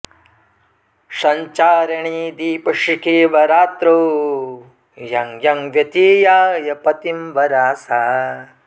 संचारिणी दीपशिखेव रात्रौ यं यं व्यतीयाय पतिंवरा सा